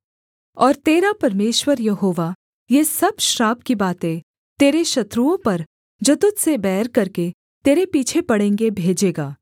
और तेरा परमेश्वर यहोवा ये सब श्राप की बातें तेरे शत्रुओं पर जो तुझ से बैर करके तेरे पीछे पड़ेंगे भेजेगा